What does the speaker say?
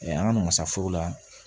an ka namasafo la